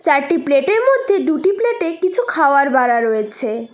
চারটি প্লেটের মধ্যে দুটি প্লেটে কিছু খাওয়ার বারা রয়েছে।